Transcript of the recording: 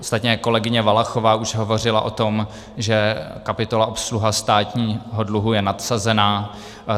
Ostatně kolegyně Valachová už hovořila o tom, že kapitola obsluha státního dluhu je nadsazená.